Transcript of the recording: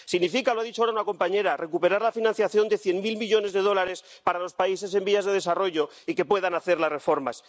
Significa ⸻lo ha dicho ahora una compañera⸻ recuperar la financiación de cien mil millones de dólares para los países en vías de desarrollo y que puedan hacer las reformas.